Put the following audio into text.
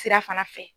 Sira fana fɛ